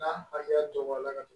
N'a hakɛya dɔn na ka